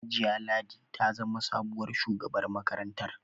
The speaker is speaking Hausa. Hajiya Ladi ta zama sabuwar shugabar makarantar.